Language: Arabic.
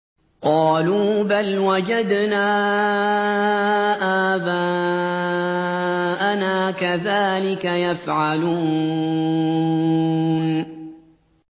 قَالُوا بَلْ وَجَدْنَا آبَاءَنَا كَذَٰلِكَ يَفْعَلُونَ